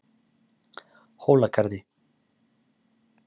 Hólagarði